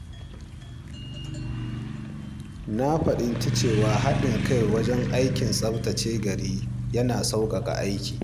Na fahimci cewa haɗin kai wajen aikin tsaftace gari yana sauƙaƙa aikin.